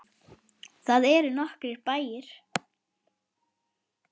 Þar eru nokkrir bæir.